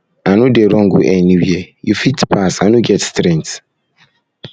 i no dey run go anywhere you fit pass i no get strength